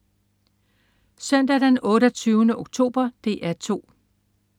Søndag den 28. oktober - DR 2: